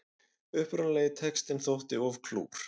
Upprunalegi textinn þótti of klúr